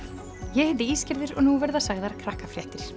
ég heiti og nú verða sagðar